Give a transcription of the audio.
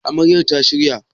Amaryar ta shirya?